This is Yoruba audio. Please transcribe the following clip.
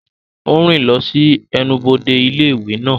Ó ń rìn lọ sí ẹnubodè ilé ìwé náà.